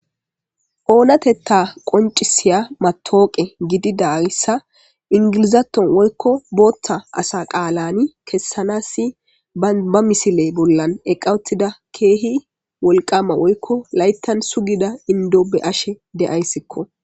Onateta qonciya matawoqiya gididaysa engilzathon woykko Botha asa qalan kesanas dumma dumma keeh wolqama woyko layta sugida Indo beyasko.